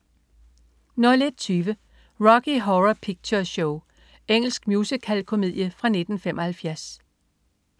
01.20 Rocky Horror Picture Show. Engelsk musicalkomedie fra 1975